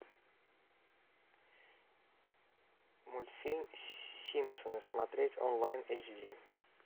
мультфильм симпсоны смотреть онлайн эйч ди